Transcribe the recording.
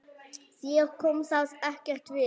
Þér kom það ekkert við!